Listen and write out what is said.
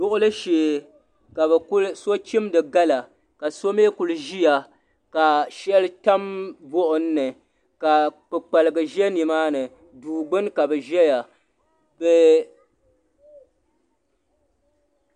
Duɣili shee ka so chimda gala ka so mi kuli ʒiya ka sheli tam buɣim ni ka kpukpaliga ʒɛ ni maa ni duu gbuni ka bi ʒɛya.